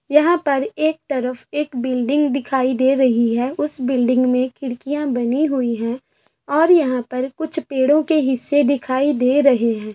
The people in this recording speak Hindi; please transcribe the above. यहाँ पर एक तरफ एक बिल्डिंग दिखाई दे रही है उस बिल्डिंग में खिड़कियाँ बनी हुई हैं और यहां पर कुछ पेड़ों के हिस्से दिखाए दे रहे हैं|